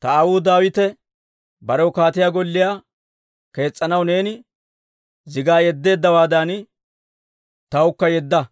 «Ta aawuu Daawite barew kaatiyaa golliyaa kees's'anaw neeni zigaa yeddeeddawaadan, tawukka yedda.